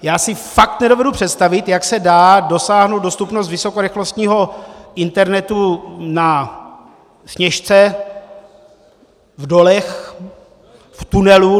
Já si fakt nedovedu představit, jak se dá dosáhnout dostupnost vysokorychlostního internetu na Sněžce, v dolech, v tunelu.